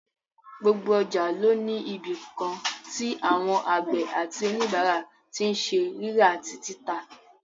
Gbogbo ọjà ló ní ibìkan tí àwọn àgbẹ̀ àti òníbàárà tí n ṣe rírà àti títà